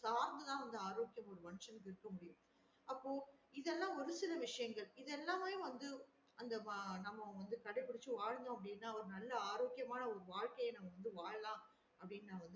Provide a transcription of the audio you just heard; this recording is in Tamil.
சார்ந்து தான் ஆரோக்கியம் ஒரு மனிசனுக்கு இருக்க முடியும் அப்ப இது எல்லாம் ஒரு சில விசையங்கள் இது எல்லாமே வந்து அந்த வா நம்ம வந்து கடைப்பிடிச்சு வாழ்ந்தோம் அப்டின்னா நல்லா ஆரோக்கியமான ஒரு வாழ்க்கைய வாழலாம் அப்டின்னு நான் வந்து